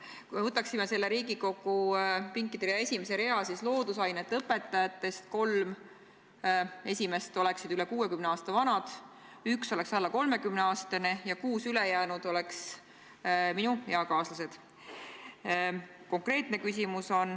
Kui me võtaksime siin Riigikogu saalis esimese rea, siis loodusainete õpetajatest kolm esimest oleksid üle 60 aasta vanad, üks oleks alla 30-aastane ja kuus ülejäänut oleksid minu eakaaslased.